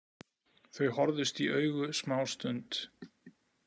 Þau horfðust í augu smástund.